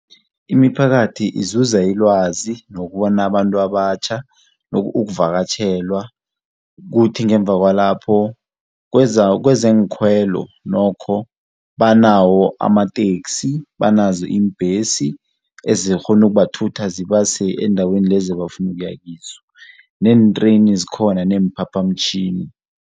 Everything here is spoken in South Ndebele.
Imiphakathi izuza ilwazi nokubona abantu abatjha, ukuvakatjhelwa. Kuthi ngemva kwalapho kwezeenkhwelo nokho banawo amateksi, banazo iimbhesi ezikghona ukubathutha zibase endaweni lezi ebafuna ukuya kizo neentreyni zikhona neemphaphamtjhini.